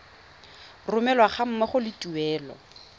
romelwa ga mmogo le tuelo